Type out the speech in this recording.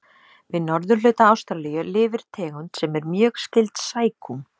Við norðurhluta Ástralíu lifir tegund sem er mjög skyld sækúm.